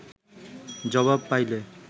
জবাব পাইলে